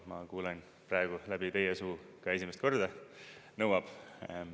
Ma kuulen praegu läbi teie suu ka esimest korda, et nõuab.